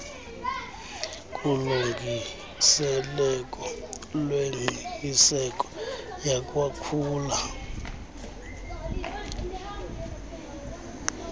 kulungiseleko lwengqiniseko yakwakhula